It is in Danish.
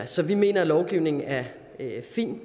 så vi mener at lovgivningen er er fin